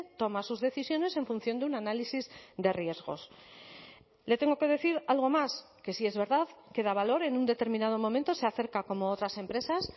toma sus decisiones en función de un análisis de riesgos le tengo que decir algo más que si es verdad que da valor en un determinado momento se acerca como otras empresas